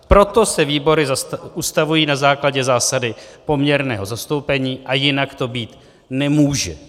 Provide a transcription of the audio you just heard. Proto se výbory ustavují na základě zásady poměrného zastoupení a jinak to býti nemůže.